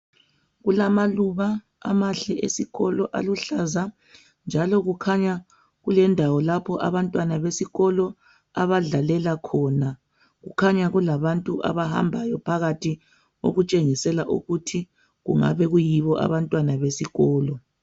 Kulamaluba amahle esikolo aluhlaza njalo kukhanya kulendawo lapho esikolo abadlalela khona. Kukhanya kulabantu abahambayo phakathi okutshengisela ukuthi kungabe kuyibo abantwana besikolo.